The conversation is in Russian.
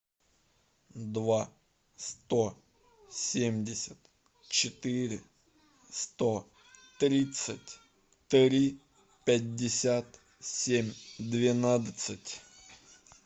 два сто семьдесят четыре сто тридцать три пятьдесят семь двенадцать